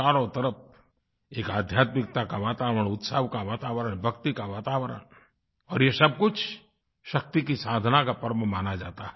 चारों तरफ़ एक आध्यात्मिकता का वातावरण उत्सव का वातावरण भक्ति का वातावरण और ये सब कुछ शक्ति की साधना का पर्व माना जाता है